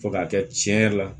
Fo k'a kɛ cɛn yɛrɛ la